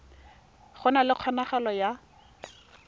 go na le kgonagalo ya